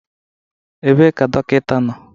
Ebee ka dọkịta nọ?